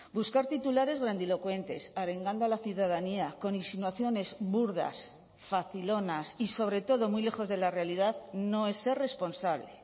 buscar titulares grandilocuentes arengando a la ciudadanía con insinuaciones burdas facilonas y sobre todo muy lejos de la realidad no es ser responsable